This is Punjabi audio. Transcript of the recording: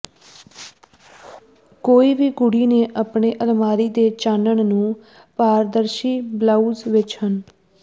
ਕੋਈ ਵੀ ਕੁੜੀ ਨੇ ਆਪਣੀ ਅਲਮਾਰੀ ਦੇ ਚਾਨਣ ਨੂੰ ਪਾਰਦਰਸ਼ੀ ਬਲਾਊਜ਼ ਵਿਚ ਹਨ